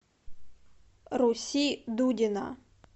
руси дудина